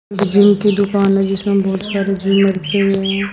Gym की दुकान है जिसमें बहोत सारी रखे हुए हैं।